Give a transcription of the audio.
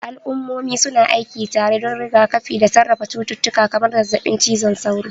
Al'ummomi su na aiki tare don rigakafi da sarrafa cututtuka kamar zazzabin cizon sauro.